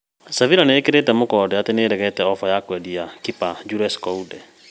Sevilla nĩĩkĩrĩte mũkonde atĩ nĩĩregete oba ya kwendia kipa Jules Kounde